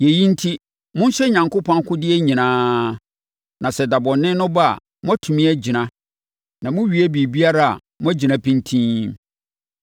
Yei enti, monhyɛ Onyankopɔn akodeɛ nyinaa, na sɛ da bɔne no ba a, moatumi agyina, na mowie biribiara a, moagyina pintinn.